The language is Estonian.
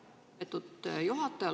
Lugupeetud juhataja!